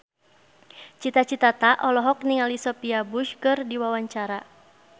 Cita Citata olohok ningali Sophia Bush keur diwawancara